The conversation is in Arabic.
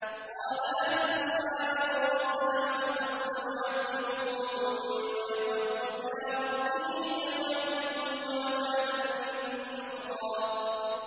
قَالَ أَمَّا مَن ظَلَمَ فَسَوْفَ نُعَذِّبُهُ ثُمَّ يُرَدُّ إِلَىٰ رَبِّهِ فَيُعَذِّبُهُ عَذَابًا نُّكْرًا